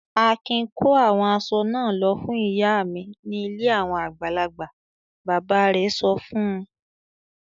"Akin kó àwọn aṣọ náà lọ fún ìyá mi ní ilé àwọn àgbàlagbà!" Bàbá rẹ̀ sọ fún un.